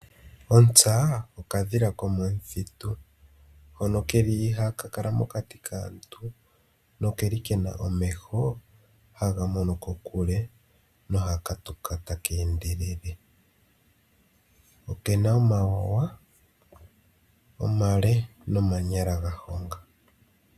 Ontsa okadhila ko momuthitu hono keli ihaka kala mokati kaantu nokeli kena omeho haga mono kokule noha katuka taka endelele. Okena omawawa omale nomanyala ga honga